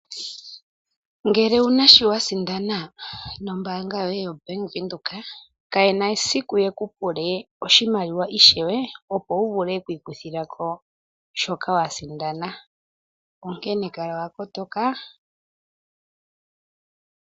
Ngele owuna shi wa sindana nombaanga yoye yo Bank Windhoek, kayena esiku yeku pule oshimaliwa ishewe, opo wu vule okwii kuthila ko shoka wa sindana. Onkene kala wa kotoka.